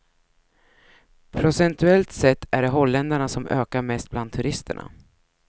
Procentuellt sett är det holländarna som ökar mest bland turisterna.